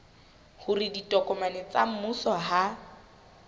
hore ditokomane tsa mmuso ha